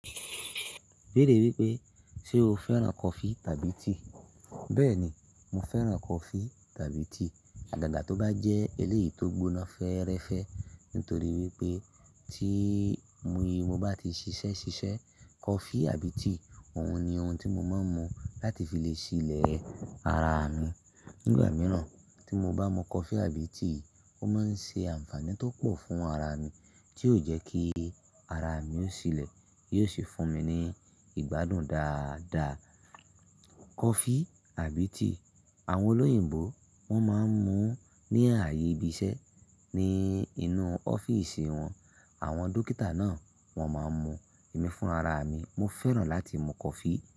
Ibẹ́ẹ̀re wí pé ṣe o fẹ́ràn coffee tàbí tea? Bẹ́ẹ̀ni, mo fẹ́ràn coffee tàbí tea. Àgága tó bá jẹ́ eléyìí tó gbóná fẹ́rẹ́fẹ́. Nítorí wípé tí mo yé, mo bá ti ṣiṣẹ́ ṣiṣẹ́ coffee àbí tea, òun ni ohun tí mo máa ń mu láti fi lè ṣílẹ̀ ara mi. Nígbà mìíràn tí mo bá mu coffee àbí tea, ó máa ń ṣe ànfàní tó pọ̀ fún ara mi, tí ó jẹ́ kí ara mi ó ṣílẹ̀, yóò sì fún mi ní ìgbádùn dáadaa. Coffee àbí tea, àwọn olóyìnbo wọ́n máa ń mu ní ààyè ibi iṣẹ́, ní inú ọ́fíìsì wọn. Àwọn dókítà náà wọn máa ń mu. Èmi fún ara mi, mo fẹ́ràn láti mu coffee.